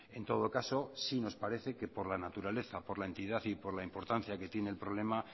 en todo caso sí nos parece que por la naturaleza por la entidad y por la importancia que tiene el problema